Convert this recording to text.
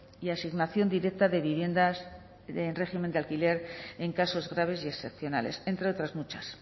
y asignación directa de viviendas en régimen de alquiler en casos graves y excepcionales entre otras muchas